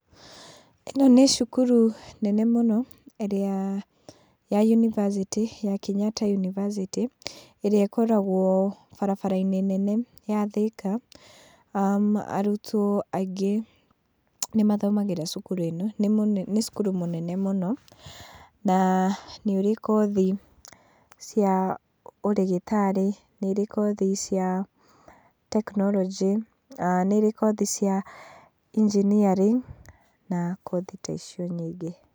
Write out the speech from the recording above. Ĩno nĩ cukuru nene mũno ĩrĩa ya university, ya Kenyatta university, ĩrĩa ĩkoragwo barabara-inĩ nene ya Thika, arutwo aingĩ nĩmathomagĩra cukuru ĩno. Nĩ cukuru mũnene mũno na nĩ ũrĩ kothi ya ũrĩgĩtari, nĩ ĩrĩ kothi cia tekinoronjĩ, nĩ ĩrĩ kothi cia engineering, na kothi ta icio nyingĩ.